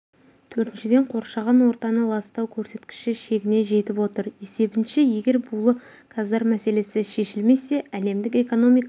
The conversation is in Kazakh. төртіншіден қоршаған ортаны ластау көрсеткіші шегіне жетіп отыр есебінше егер булы газдар мәселесі шешілмесе әлемдік экономика